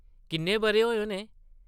‘‘किन्ने बʼरे होए होने ?’’